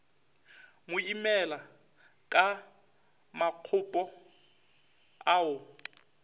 mo imela ka makgopo ao